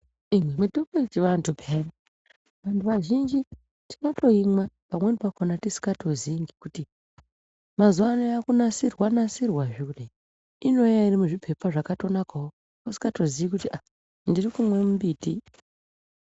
Iii mutombo yechivantu peyani . Vantu vazhinji tinotoimwa pamweni pakhona tisingatozivi ngekuti mazuva ano yave kunasirwa-nasirwa zve kudai. Inouya iri muzviphepa zvakatonakawo usingatoziyi kuti aa ndiri kumwa mimbiti.